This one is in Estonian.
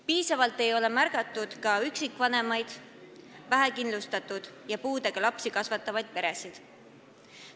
Piisavalt ei ole märgatud ka üksikvanemaid, vähekindlustatud ja puudega lapsi kasvatavaid peresid.